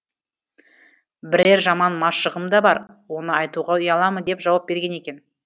бірер жаман машығым да бар оны айтуға ұяламын деп жауап берген екен